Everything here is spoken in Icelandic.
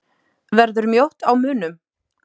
Verður mjótt á munum?